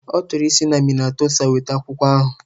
Ọ chọrọ isi na Minnasota weta akwụkwọ ahụ